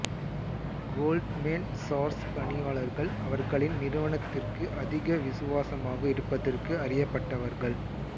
Goldman Sachs பணியாளர்கள் அவர்களின் நிறுவனத்திற்கு அதிக விசுவாசமாக இருப்பதற்கு அறியப்பட்டவர்கள்